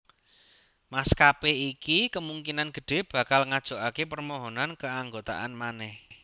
Maskapé iki kemungkinan gedhé bakal ngajokaké permohonan keanggotaan manèh